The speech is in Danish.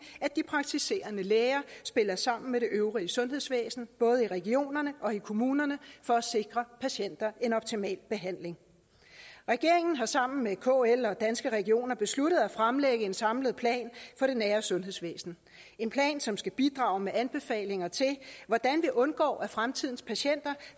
at de praktiserende læger spiller sammen med det øvrige sundhedsvæsen både i regionerne og i kommunerne for at sikre patienter en optimal behandling regeringen har sammen med kl og danske regioner besluttet at fremlægge en samlet plan for det nære sundhedsvæsen en plan som skal bidrage med anbefalinger til hvordan vi undgår at fremtidens patienter